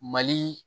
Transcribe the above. Mali